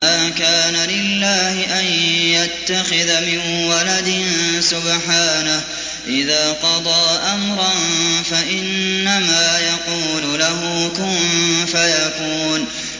مَا كَانَ لِلَّهِ أَن يَتَّخِذَ مِن وَلَدٍ ۖ سُبْحَانَهُ ۚ إِذَا قَضَىٰ أَمْرًا فَإِنَّمَا يَقُولُ لَهُ كُن فَيَكُونُ